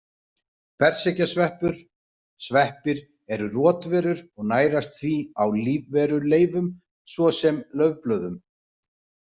Berserkjasveppur Sveppir eru rotverur og nærast því á lífveruleifum svo sem laufblöðum.